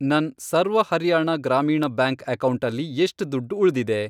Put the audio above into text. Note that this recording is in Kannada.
ನನ್ ಸರ್ವ ಹರಿಯಾಣ ಗ್ರಾಮೀಣ ಬ್ಯಾಂಕ್ ಅಕೌಂಟಲ್ಲಿ ಎಷ್ಟ್ ದುಡ್ಡ್ ಉಳ್ದಿದೆ?